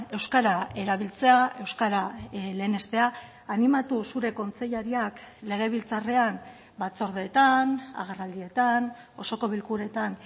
euskara erabiltzea euskara lehenestea animatu zure kontseilariak legebiltzarrean batzordeetan agerraldietan osoko bilkuretan